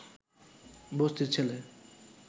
বস্তির ছেলে